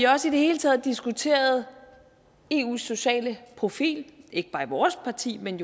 også i det hele taget diskuteret eus sociale profil ikke bare i vores parti men